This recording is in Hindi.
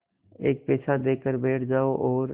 एक पैसा देकर बैठ जाओ और